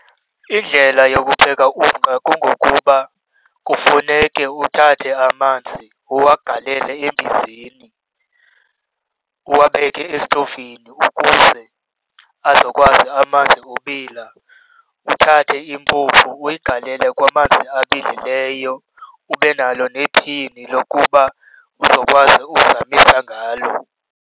Indlela yokupheka umqa kungokuba kufuneke uthathe amanzi uwagalele embizeni, uwabeke esitovini ukuze azokwazi amanzi ubila. Uthathe impuphu uyigalele kwamanzi abilileyo, ube nalo nephini lokuba uzokwazi uzamisa ngalo.